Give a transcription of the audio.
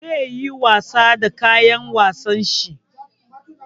Zai yi wasa da kayan wasan shi.